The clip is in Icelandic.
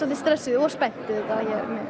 stressuð og spennt auðvitað